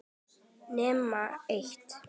Nema eitt.